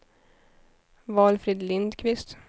Valfrid Lindkvist